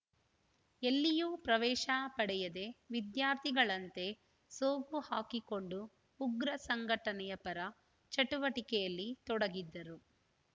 ಎಲ್ಲಿಯೂ ಪ್ರವೇಶ ಪಡೆಯದೇ ವಿದ್ಯಾರ್ಥಿಗಳಂತೆ ಸೋಗುಹಾಕಿಕೊಂಡು ಉಗ್ರ ಸಂಘಟನೆಯ ಪರ ಚಟುವಟಿಕೆಯಲ್ಲಿ ತೊಡಗಿದ್ದರು